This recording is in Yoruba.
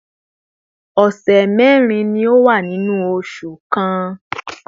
ọ̀sẹ̀ mẹ́rin ni ó wà nínú oṣù kan